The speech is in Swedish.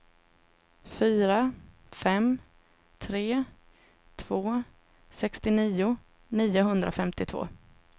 fyra fem tre två sextionio niohundrafemtiotvå